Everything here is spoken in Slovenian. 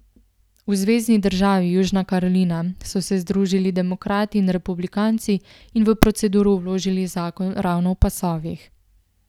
V zvezni državi Južna Karolina so se združili demokrati in republikanci in v proceduro vložili zakon ravno o pasovih.